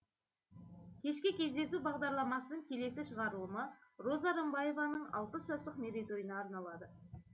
кешкі кездесу бағдарламасының келесі шығарылымы роза рымбаеваның алпыс жастық мерейтойына арналады